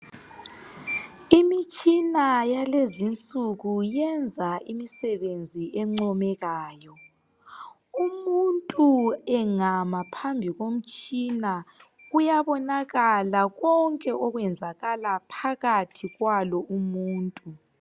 Imitshina yalezinsuku yenza imisebenzi encomekayo . Umuntu engama phambi komtshina kuyabonakala konke okwenzakala phakathi kwalo umuntu.